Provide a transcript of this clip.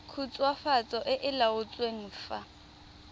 khutswafatso e e laotsweng fa